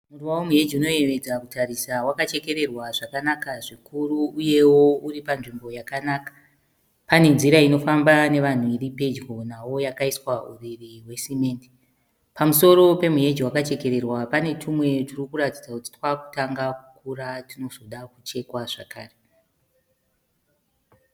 Muruva womuheji unoyevedza kutarisa wakachekererwa zvikuru uyewo uri panzvimbo yakanaka. Pane nzira inovafamba nevanhu iri pedyo nawo yakaiiswa uriri hwesimende. Pamusoro pemuheji wakachekererwa pane tumwe turi kuratidza kuti twakutanga kukura tunozoda kuchekwa zvakare.